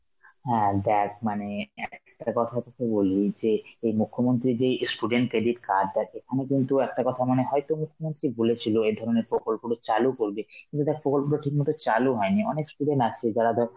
হ্যাঁ দেখ মানে অ্যাঁ একটা কথা তোকে বলি যে এই মুখ্যমন্ত্রী যে student credit card টা, এখানে কিন্তু একটা কথা মনে হয় বলেছিল এই ধরনের প্রকল্প চালু করবে, কিন্তু দেখ প্রকল্পতা ঠিক মতন চালু হয়নি, অনেক student আছে যারা ধর